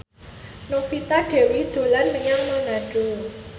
Novita Dewi dolan menyang Manado